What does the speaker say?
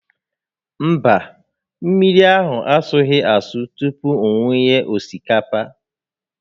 Mba, mmiri ahụ asụghị asụ tupu m wunye osikapa